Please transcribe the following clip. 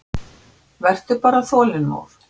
Vertu bara þolinmóð.